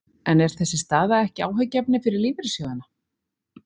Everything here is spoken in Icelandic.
En er þessi staða ekki áhyggjuefni fyrir lífeyrissjóðina?